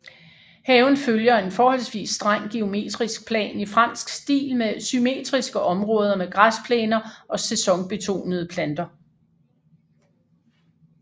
Haven følger en forholdsvis streng geometrisk plan i fransk stil med symmetriske områder med græsplæner og sæsonbetonede planter